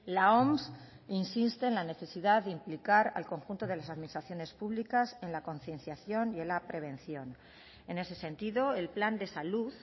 la oms insiste en la necesidad de implicar al conjunto de las administraciones públicas en la concienciación y en la prevención en ese sentido el plan de salud